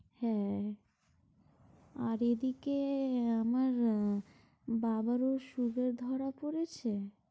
হ্যাঁ, আর এদিকে আমার বাবারও sugar ধরা পড়েছে।